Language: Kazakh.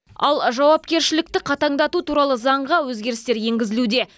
ал жауапкершілікті қатаңдату туралы заңға өзгерістер енгізілуде